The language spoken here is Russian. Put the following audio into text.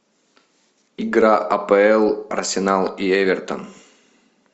игра апл арсенал и эвертон